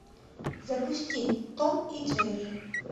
запусти том и джерри